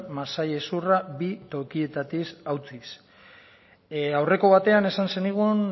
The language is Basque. masail hezurra bi tokietatik hautsiz aurreko batean esan zenigun